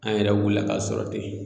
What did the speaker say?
An yɛrɛ wulila ka sɔrɔ ten